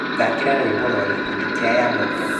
thakira rwimbo rwa gikundi kia yamoto